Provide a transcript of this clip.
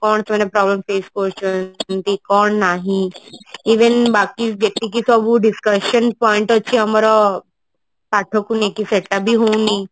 କଣ ସେମାନେ କରନ୍ତି ଯେମତି କଣ ନାହିଁ even ବାକି ଯେତିକି ସବୁ discussion point ଅଛି ଆମର ପାଠ କୁ ନେଇ ସେଟା ବି ହଉନି